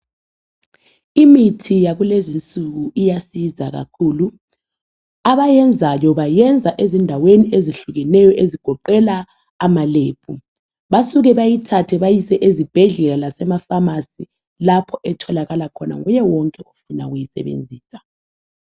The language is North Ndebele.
Imithi yakulezi nsuku iyasiza kakhulu. Abayenzayo bayenza ezindaweni ezehlukeneyo Basuke bayithathe bayise ezibhedlela lasemafamasi efuna ukuyisebenzisa.